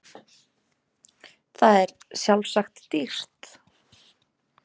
Það er sjálfsagt dýrt.